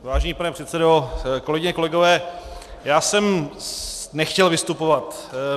Vážený pane předsedo, kolegyně, kolegové, já jsem nechtěl vystupovat.